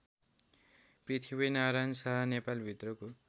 Prithvinarayan Shah नेपालभित्रको